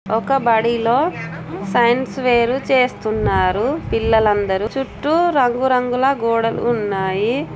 ఒక బడిలో science fair చేస్తున్నారు. పిల్లలందరూ చుట్టూ రంగురంగుల గోడలు ఉన్నా--